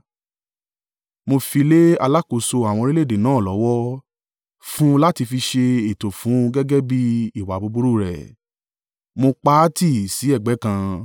mo fi lé alákòóso àwọn orílẹ̀-èdè náà lọ́wọ́, fún un láti fi ṣe ẹ̀tọ́ fún un gẹ́gẹ́ bí ìwà búburú rẹ̀. Mo pa á tì sí ẹ̀gbẹ́ kan,